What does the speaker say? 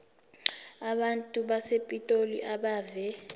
abantu basepitoli abeve